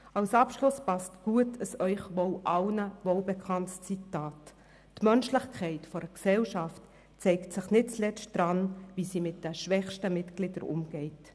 Als Abschluss passt gut ein Ihnen allen wohl bekanntes Zitat: «Die Menschlichkeit einer Gesellschaft zeigt sich nicht zuletzt daran, wie sie mit ihren schwächsten Mitgliedern umgeht.